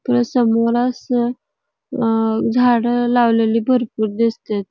पुन्हा समोर अस झाड लावलेली भरपुर दिसतेत.